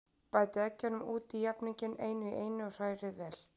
Bætið eggjunum út í jafninginn, einu í einu, og hrærið vel.